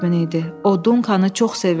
O Dunkanı çox sevirdi.